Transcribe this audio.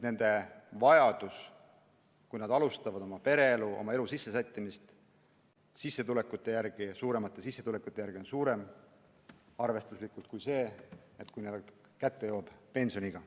Aga kui nad alustavad pereelu, hakkavad oma elu sisse sättima, siis eelistavad nad eelduste kohaselt suuremat palka enne, kui neil pensioniiga kätte jõuab.